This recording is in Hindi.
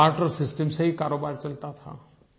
बार्टर सिस्टम से ही कारोबार चलता था